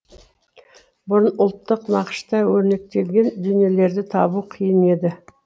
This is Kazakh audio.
бұрын ұлттық нақышта өрнектелген дүниелерді табу қиын еді